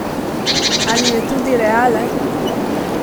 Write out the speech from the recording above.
Ali je tudi realen?